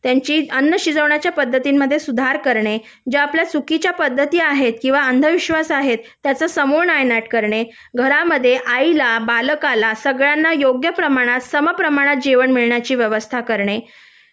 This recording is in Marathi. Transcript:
त्यांच्या अन्न शिजवण्याच्या पद्धतींमध्ये सुधार करणे ज्या आपल्या चुकीच्या पद्धती आहेत किंवा अंधविश्वास आहेत त्याचा समूळ नायनाट करणे घरामध्ये आईला बालकाला सगळ्यांना सम प्रमाणात योग्य प्रमाणात जेवण मिळण्याची व्यवस्था करणे